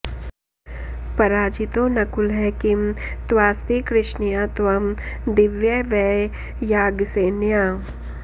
पराजितो नकुलः किं तवास्ति कृष्णया त्वं दीव्य वै याज्ञसेन्या